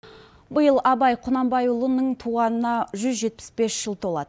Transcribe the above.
биыл абай құнанбайұлының туғанына жүз жетпіс бес жыл толады